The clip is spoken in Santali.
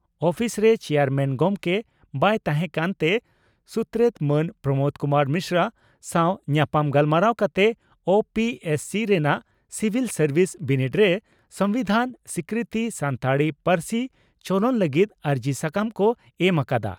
ᱩᱯᱤᱥᱨᱮ ᱪᱮᱭᱟᱨᱢᱮᱱ ᱜᱚᱢᱠᱮ ᱵᱟᱭ ᱛᱟᱦᱮᱸᱠᱟᱱ ᱛᱮ ᱥᱩᱛᱨᱮᱛ ᱢᱟᱱ ᱯᱨᱚᱢᱚᱫᱽ ᱠᱩᱢᱟᱨ ᱢᱤᱥᱨᱟ ᱥᱟᱣ ᱧᱟᱯᱟᱢ ᱜᱟᱞᱢᱟᱨᱟᱣ ᱠᱟᱛᱮ ᱳᱹᱯᱤᱹᱮᱥᱹᱥᱤᱹ ᱨᱮᱱᱟᱜ ᱥᱤᱵᱷᱤᱞ ᱥᱟᱨᱵᱤᱥ ᱵᱤᱱᱤᱰ ᱨᱮ ᱥᱚᱢᱵᱤᱫᱷᱟᱱ ᱥᱤᱠᱨᱤᱛᱤ ᱥᱟᱱᱛᱟᱲᱤ ᱯᱟᱹᱨᱥᱤ ᱪᱚᱞᱚᱱ ᱞᱟᱹᱜᱤᱫ ᱟᱹᱨᱡᱤ ᱥᱟᱠᱟᱢ ᱠᱚ ᱮᱢ ᱟᱠᱟᱫᱼᱟ ᱾